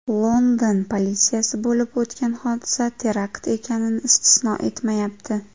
London politsiyasi bo‘lib o‘tgan hodisa terakt ekanini istisno etmayapti.